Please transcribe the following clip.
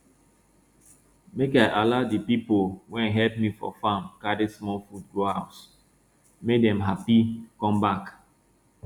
make i allow de pipo wey help me for farm carry small food go house make dem happy come back